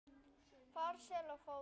Farsæll og fróður.